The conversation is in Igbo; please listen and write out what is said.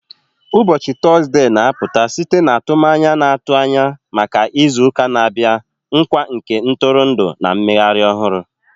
Ụbọchị Tọzdee na-apụta site n'atụmanya na-atụ anya maka izu ụka na-abịa, nkwa nke ntụrụndụ na mmeghari ohuru